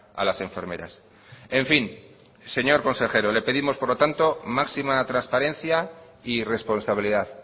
a las enfermeras en fin señor consejero le pedimos por lo tanto máxima transparencia y responsabilidad